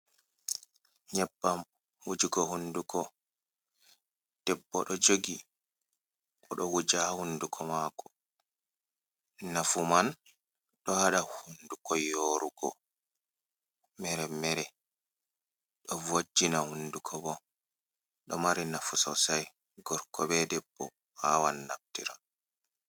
Nyebbam wujugo hunduko, debbo ɗo jogi oɗo wuja hunduko mako, nafu man ɗo haɗa hunduko yorugo meremere, ɗo vojina hunduko bo ɗo mari nafu sosai gorko be debbo wawan naftirgo.